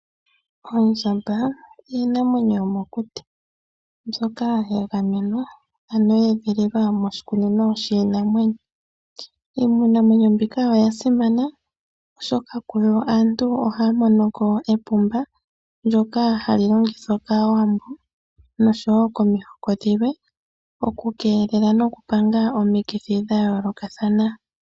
Oondjamba iinamwenyo yomokuti mbyoka yagamenwa ano yeedhililwa moshikunino shiinamwenyo. Iinamwenyo mbika oya simana oshoka kuyo aantu ohaya mono ko epumba lyoka hali longithwa kaawambo nosho woo komihoko dhilwe oku keelela noku panga omukithi dhayoolokathana.